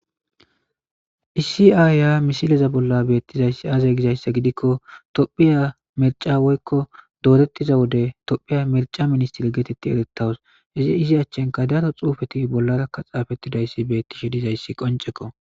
issi ayya misileza bolla beettizayssi aazay gizayssa gidikko tophiya merca woykko doorettiza wode tophiya merca ministir geetetti erettawus izi izi achchenka daro xuufeti bollarakka xaafettidayssi beettishe dizayssi qonceko